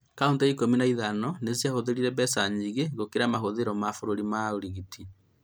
Kauntĩ ikũmi na ithano nĩciahũthĩrire mbeca nyingĩ gũkĩra mahũthiro ma bũrũri harĩ ũrigiti